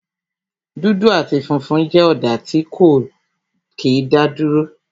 dudu ati funfun jẹ́ ọ̀dà tí ó kí n daduro